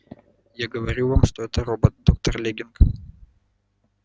я говорю вам что это робот доктор лэннинг